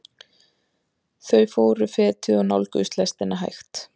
Þau fóru fetið og nálguðust lestina hægt.